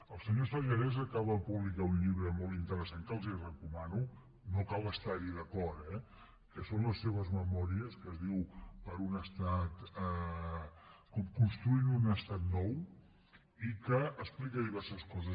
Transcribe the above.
el senyor sellarès acaba de publicar un llibre molt interessant que els recomano no cal estar hi d’acord eh que són les seves memòries que es diu construint un estat nou i que explica diverses coses